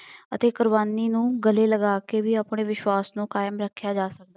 ਅਤੇ ਕੁਰਬਾਨੀ ਨੂੰ ਗਲੇ ਲਗਾ ਕੇ ਵੀ ਆਪਣੇ ਵਿਸ਼ਵਾਸ਼ ਨੂੰ ਕਾਇਮ ਰੱਖਿਆ ਜਾ